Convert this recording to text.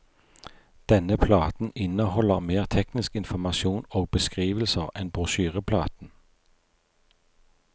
Denne platen inneholder mer teknisk informasjon og beskrivelser enn brosjyreplaten.